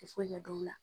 Tɛ foyi ɲɛ dɔn o la